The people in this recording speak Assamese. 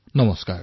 নমস্কাৰ